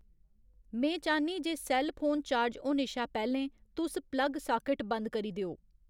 में चाह्न्नीं जे सैल्ल फोन चार्ज होने शा पैह्लें तुस प्लग साकेट बंद करी देओ